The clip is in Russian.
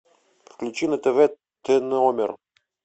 включи на тв т номер